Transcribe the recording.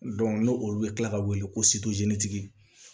n'o olu bɛ kila ka wele ko tigi